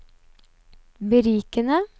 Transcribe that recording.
berikende